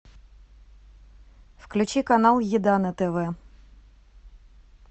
включи канал еда на тв